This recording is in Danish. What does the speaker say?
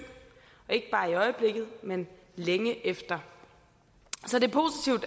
ikke bare i øjeblikket men længe efter så det